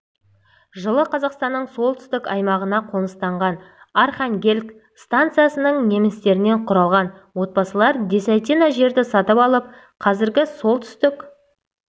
жылы қазақстанның солтүстік аймағына қоныстанған архангельск станицасының немістерінен құралған отбасылар десятина жерді сатып алып қазіргі солтүстік